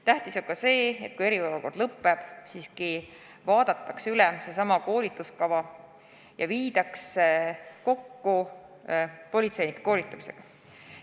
Tähtis on ka see, et kui eriolukord lõppeb, siis vaadataks seesama koolituskava üle ja viidaks kooskõlla politseinike koolitamisega.